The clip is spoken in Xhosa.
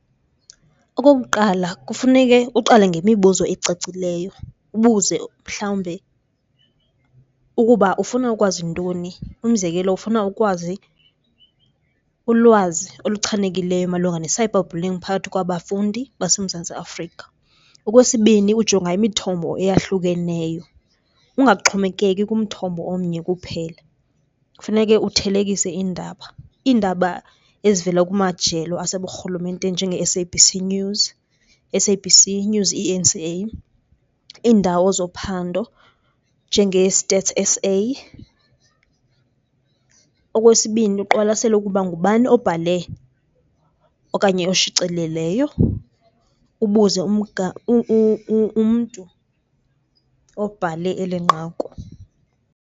Okokuqala, kufuneke uqale ngemibuzo ecacileyo ubuze mhlawumbe ukuba ufuna ukwazi ntoni, umzekelo ufuna ukwazi ulwazi oluchanekileyo malunga ne -cyber bullying phakathi kwabafundi baseMzantsi Afrika. Okwesibini, ujonga imithombo eyahlukeneyo ungaxhomekeki ngumthombo omnye kuphela. Kufuneke uthelekise iindaba. Iindaba ezivela kumajelo aseburhulumenteni njenge-S_A_B_C News, S_A_B_C News E_N_C_A, iindawo zophando njenge-Stats S_A. Okwesibini, uqwalasele ukuba ngubani obhale okanye oshicileleyo, ubuze umntu obhale eli nqaku.